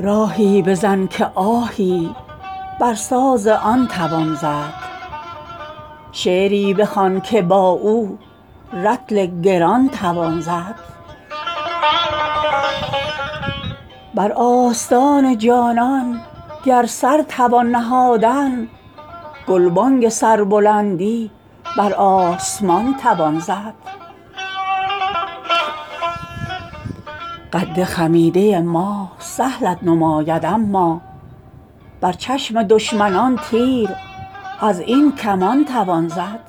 راهی بزن که آهی بر ساز آن توان زد شعری بخوان که با او رطل گران توان زد بر آستان جانان گر سر توان نهادن گلبانگ سربلندی بر آسمان توان زد قد خمیده ما سهلت نماید اما بر چشم دشمنان تیر از این کمان توان زد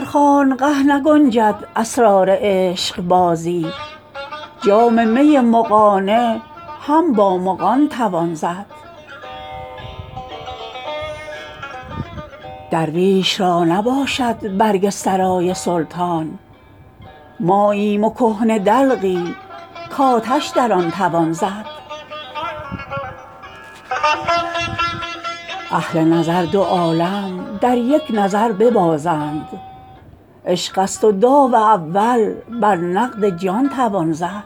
در خانقه نگنجد اسرار عشقبازی جام می مغانه هم با مغان توان زد درویش را نباشد برگ سرای سلطان ماییم و کهنه دلقی کآتش در آن توان زد اهل نظر دو عالم در یک نظر ببازند عشق است و داو اول بر نقد جان توان زد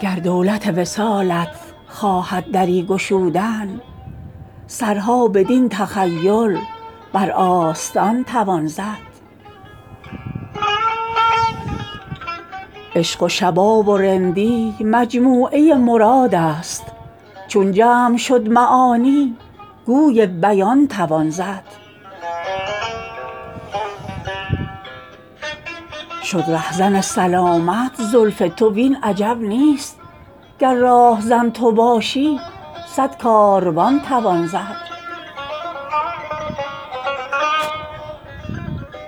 گر دولت وصالت خواهد دری گشودن سرها بدین تخیل بر آستان توان زد عشق و شباب و رندی مجموعه مراد است چون جمع شد معانی گوی بیان توان زد شد رهزن سلامت زلف تو وین عجب نیست گر راهزن تو باشی صد کاروان توان زد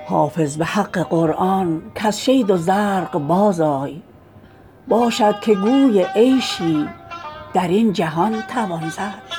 حافظ به حق قرآن کز شید و زرق بازآی باشد که گوی عیشی در این جهان توان زد